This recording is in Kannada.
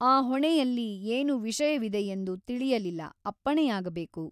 ಆ ಹೊಣೆಯಲ್ಲಿ ಏನು ವಿಷಯವಿದೆಯೆಂದು ತಿಳಿಯಲಿಲ್ಲ ಅಪ್ಪಣೆಯಾಗಬೇಕು.